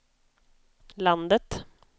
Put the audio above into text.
landet